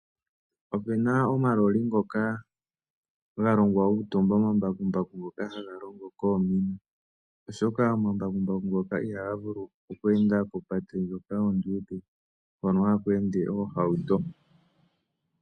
Opena omaloli ngoka galongwa gokutumba omambakumbaku ngoka haga longo koomina, oshoka omambakumbaku ngoka ihaga vulu oku enda kopate ndjoka onduudhe hono haku ende oohauto.